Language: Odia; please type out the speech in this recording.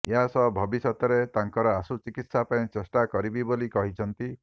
ଏହାସହ ଭବିଷ୍ୟତରେ ତାଙ୍କର ଆଶୁ ଚିକିତ୍ସା ପାଇଁ ଚେଷ୍ଟା କରିବି ବୋଲି କହିଛନ୍ତି